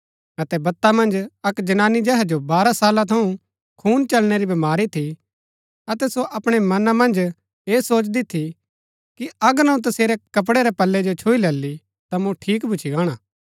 अतै बत्ता मन्ज अक्क जनानी जेहा जो बारह साला थऊँ खून चलणै री बमारी थी अतै सो अपणै मना मन्ज ऐह सोचदी थी कि अगर अऊँ तसेरै कपड़ै रै पल्लै जो छुई लैली ता मूँ ठीक भूच्ची गाणा